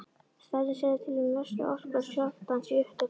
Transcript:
Stærðin segir til um mestu orku skjálftans í upptökum.